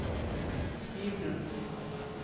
hybelen